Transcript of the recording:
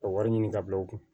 Ka wari ɲini ka bila u kun